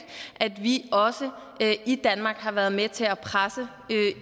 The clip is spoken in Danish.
at vi også i danmark har været med til at presse